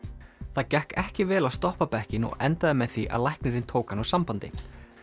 það gekk ekki vel að stoppa bekkinn og endaði með því að læknirinn tók hann úr sambandi